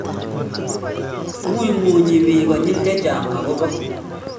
ng'ung'unyi biik konyil chechang akobo